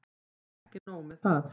Og ekki nóg með það.